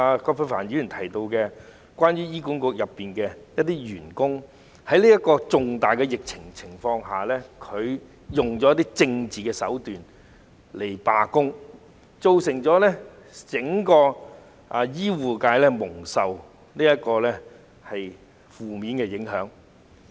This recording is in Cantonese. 葛珮帆議員在主體質詢提到，有醫管局員工在這次重大疫情下，利用政治手段進行罷工，對整個醫護界造成負面影響。